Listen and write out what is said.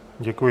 Děkuji.